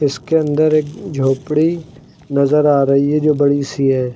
इसके अंदर एक झोपड़ी नजर आ रही है जो बड़ी सी है।